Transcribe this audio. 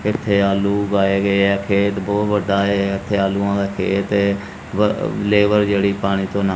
ਇੱਥੇ ਆਲੂ ਉਗਾਏ ਗਏ ਆ ਖੇਤ ਬਹੁਤ ਵੱਡਾ ਹੈ ਇਥੇ ਆਲੂਆਂ ਦਾ ਖੇਤ ਏ ਲੇਬਰ ਜਿਹੜੀ ਪਾਣੀ ਤੋਂ ਨਾ--